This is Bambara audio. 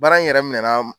Baara in yɛrɛ minɛ na